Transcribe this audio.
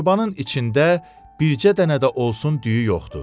torbanın içində bircə dənə də olsun düyü yoxdur.